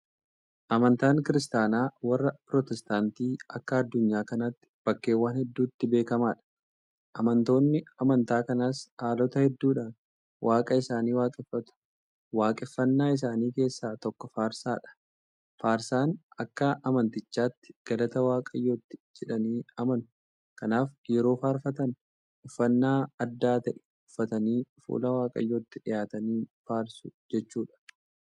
Amantaan kiristaanaa warra pirotestaantii akka addunyaa kanaatti bakkeewwan hedduutti beekamaadha. Amantoonni amantaa kanaas haalota hedduudhaan Waaqa isaanii waaqeffatu. Waaqeffannaa isaanii keessaa tokko faarsaadha. Faarsaan akka amantichaatti galata waaqayyooti jedhanii amanu. Kanaaf yeroo faarfatan uffannaa adda ta'e uffatanii fuula waaqayyootti dhiyaatanii faarsu jechuudha.